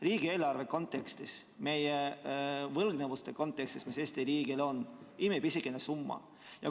Riigieelarve kontekstis, meie võlgnevuste kontekstis, mis Eesti riigil on, on see imepisikene summa.